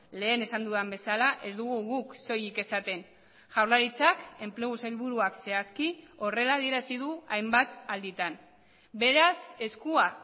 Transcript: lehen esan dudan bezala ez dugu guk soilik esaten jaurlaritzak enplegu sailburuak zehazki horrela adierazi du hainbat alditan beraz eskua